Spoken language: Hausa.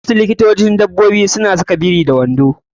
Wasu likitocin dabbobi suna saka biri da wando.